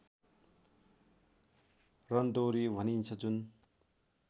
रंदोरी भनिन्छ जुन